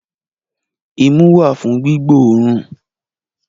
Imú wà fún gbígbóòrùn